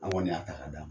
An kɔni y'a ta k'a d'a ma